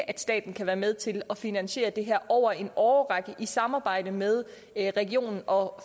at staten kan være med til at finansiere det her over en årrække i samarbejde med regionen og